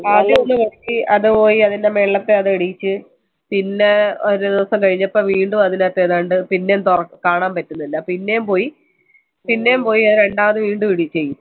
ആദ്യം ഒന്ന് അത് പോയി അതിന്ടെ മേലത്തെ അത് ഇടിച്ചു പിന്നെ ഒരു ദിവസം കൈനപ്പൊ! കാണാൻ പറ്റുന്നില്ല പിന്നെയും പോയി അത് രണ്ടാമത് വീണ്ടും ഇടിച്ചു